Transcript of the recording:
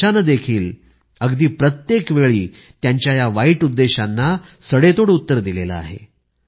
देशाने देखील अगदी प्रत्येक वेळी त्यांच्या या वाईट उद्देशांना सडेतोड उत्तर दिलेले आहे